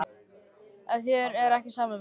Er þér ekki sama um það?